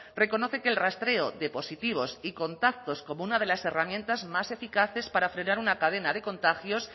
reconoce que el rastreo de positivos y contactos como una de las herramientas más eficaces para frenar una cadena de contagios